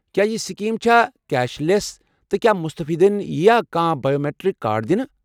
کیٚا یہ سکیٖم چھا کیش لیس، تہٕ کیا مستفیدین ییا کانٛہہ بائیومیٹرک کارڈ دِنہٕ؟